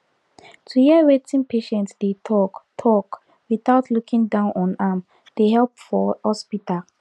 to hear wetin patient dey talk talk without looking down on am dey help for hospital